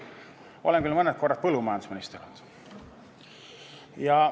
Olen küll mõne aja põllumajandusminister olnud.